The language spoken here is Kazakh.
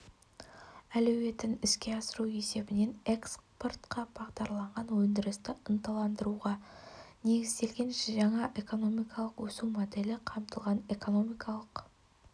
әлеуетін іске асыру есебінен экспортқа бағдарланған өндірісті ынталандыруға негізделген жаңа экономикалық өсу моделі қамтылған экономикалық